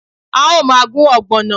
A o maa gun ogbono